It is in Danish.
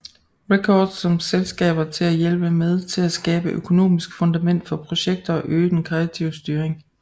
Records som selskaber til at hjælpe med til at skabe økonomisk fundament for projekter og øge den kreative styring